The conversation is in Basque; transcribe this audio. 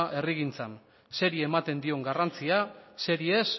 herrigintzan zeri ematen dion garrantzia zeri ez